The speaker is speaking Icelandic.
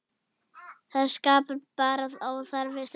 Það skapar bara óþarfa stress.